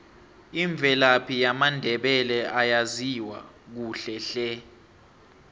imvelaphi yamandebele ayaziwa kuhle hle